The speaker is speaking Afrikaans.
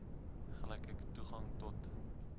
gelyke toegang tot